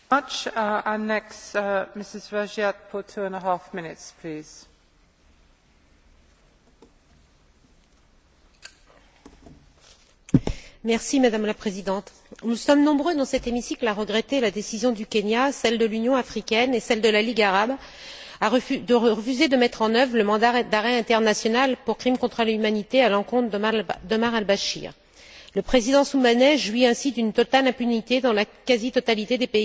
Madame la Présidente, nous sommes nombreux dans cet hémicycle à regretter la décision du Kenya, celle de l'Union africaine et celle de la Ligue arabe de refuser de mettre en œuvre le mandat d'arrêt international pour crime contre l'humanité à l'encontre d'Omar el Béchir. Le président soudanais jouit ainsi d'une totale impunité dans la quasi totalité des pays africains et arabes. Nous sommes aussi un certain nombre, sans doute un peu moins, à souhaiter que la justice internationale puisse être la même pour tous et pour toutes partout à travers le monde.